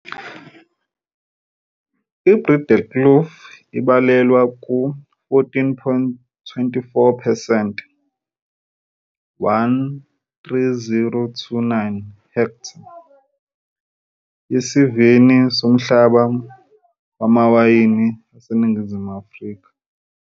iBreedekloof ibalelwa ku 14.24 percent, 13029 hektha, yesivini somhlaba wamawayini aseNingizimu Afrika.